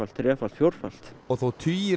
þrefalt fjórfalt og þó tugir